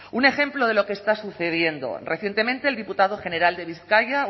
un ejemplo de lo que está sucediendo recientemente el diputado general de bizkaia